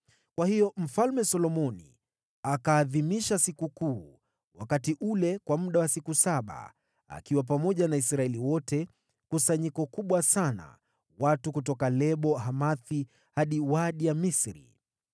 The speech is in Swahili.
Hivyo Solomoni akaiadhimisha sikukuu wakati ule kwa muda wa siku saba, na Israeli wote pamoja naye. Walikuwa kusanyiko kubwa sana, watu kutoka Lebo-Hamathi hadi Kijito cha Misri.